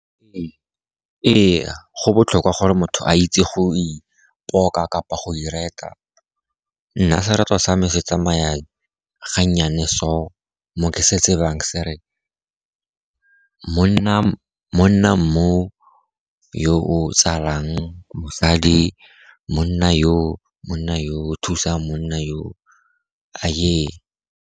Ee, go botlhokwa gore motho a itse go ipoka kapa go ireta. Nna sereto sa me se tsamaya ga nnyane so, mo ke se tsebang se re, Monna monna mo yo o tsalang mosadi, monna yo, monna yo, thusang monna yo, aye!